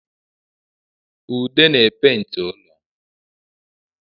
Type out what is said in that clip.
Udo na-epenti ụlọ